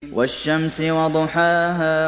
وَالشَّمْسِ وَضُحَاهَا